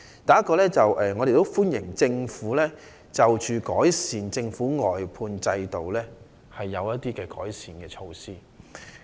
第一，我們歡迎政府就外判制度推出的一些改善措施。